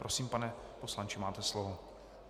Prosím, pane poslanče, máte slovo.